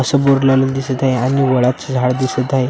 समोर लॉन एक दिसत आहे आणि वडाचं झाड दिसत आहे.